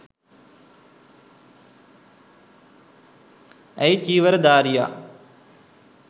ඇයි චීවරධාරියා